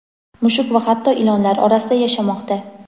mushuk va hatto ilonlar orasida yashamoqda.